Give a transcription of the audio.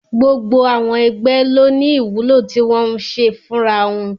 Gbogbo àwọn ẹgbẹ́ ló ní ìwúlò tí wọ́n ń ṣe fúnra wọn